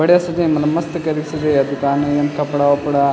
बढ़िया सजयीं मलब मस्त केरिक सजयीं या दुकान येम कपड़ा-वपड़ा --